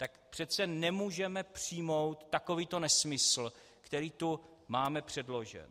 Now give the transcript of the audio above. Tak přece nemůžeme přijmout takovýto nesmysl, který tu máme předložen.